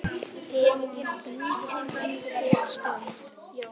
Hin líðandi stund.